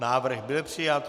Návrh byl přijat.